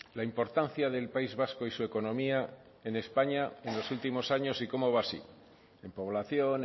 la importancia del país vasco y su economía en españa en los últimos años y cómo va así en población